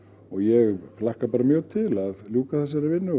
og ég hlakka bara mjög til að ljúka þessari vinnu